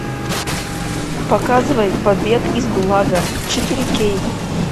показывай побег из гулага четыре кей